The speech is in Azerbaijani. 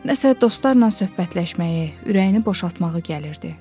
Nəsə dostlarla söhbətləşməyi, ürəyini boşaltmağa gəlirdi.